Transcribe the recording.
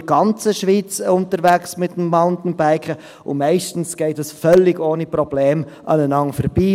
Ich bin in der ganzen Schweiz mit dem Mountainbike unterwegs, und meistens geht das völlig ohne Probleme aneinander vorbei.